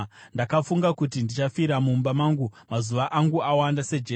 “Ndakafunga kuti, ‘Ndichafira mumba mangu, mazuva angu awanda sejecha.